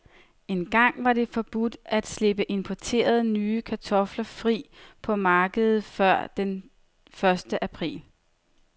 Engang var det forbudt at slippe importerede, nye kartofler fri på markedet før den første april.